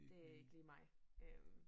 Det ikke lige mig øh